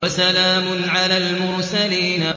وَسَلَامٌ عَلَى الْمُرْسَلِينَ